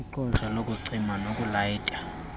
iqosha lokucima nokulayita